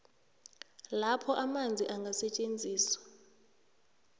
lapho amanzi angasetjenziswa